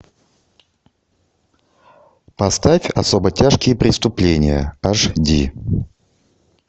поставь особо тяжкие преступления аш ди